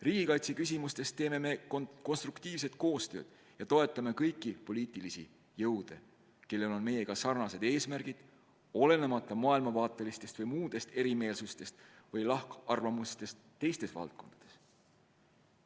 Riigikaitseküsimustes teeme konstruktiivset koostööd ja toetame kõiki poliitilisi jõude, kellel on meiega sarnased eesmärgid, olenemata maailmavaatelistest või muudest lahkarvamustest teistes valdkondades.